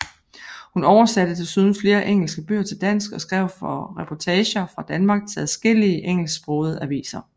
Hun oversatte desuden flere engelske bøger til dansk og skrev for reportager fra Danmark til adskillige engelsksprogede aviser